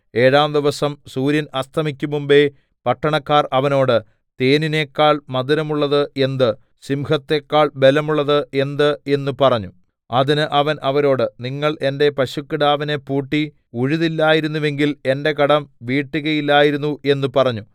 ഏഴാം ദിവസം സൂര്യൻ അസ്തമിക്കുംമുമ്പെ പട്ടണക്കാർ അവനോട് തേനിനെക്കാൾ മധുരമുള്ളത് എന്ത് സിംഹത്തെക്കാൾ ബലമുള്ളത് എന്ത് എന്ന പറഞ്ഞു അതിന് അവൻ അവരോട് നിങ്ങൾ എന്റെ പശുക്കിടാവിനെ പൂട്ടി ഉഴുതില്ലായിരുന്നുവെങ്കിൽ എന്റെ കടം വീട്ടുകയില്ലായിരുന്നു എന്ന് പറഞ്ഞു